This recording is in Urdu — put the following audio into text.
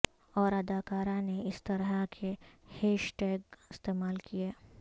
اور اداکارہ نے اس طرح کے ہیش ٹیگ استعمال کیے